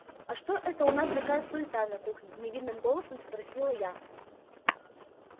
а что это у нас такая суета на кухне невинным голосом спросила я